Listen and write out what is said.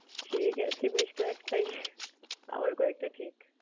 সে গেছে বেশ কয়েকটাই আবার কয়েকটা ঠিক।